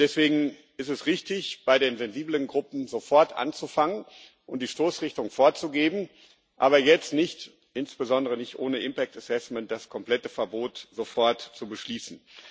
Deswegen ist es richtig, bei den sensiblen Gruppen sofort anzufangen und die Stoßrichtung vorzugeben, aber jetzt nicht insbesondere nicht ohne Folgenabschätzung das komplette Verbot sofort zu beschließen.